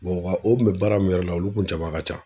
a o kun bɛ baara min yɛrɛ la olu kun jama ka can.